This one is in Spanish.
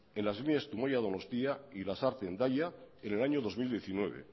en las vías zumaia donostia y lasarte hendaia en el año dos mil diecinueve